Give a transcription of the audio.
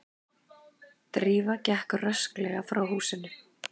Drífa gekk rösklega frá húsinu.